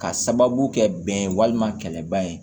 Ka sababu kɛ bɛn ye walima kɛlɛba ye